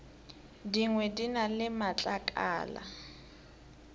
dingwe di na le matlakala